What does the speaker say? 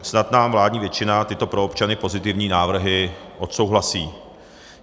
Snad nám vládní většina tyto pro občany pozitivní návrhy odsouhlasí.